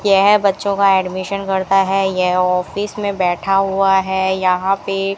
यह बच्चों का एडमिशन करता है ये ऑफिस में बैठा हुआ है यहां पे--